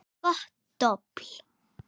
Gott dobl.